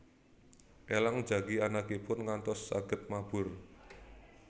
Elang njagi anakipun ngantos saged mabur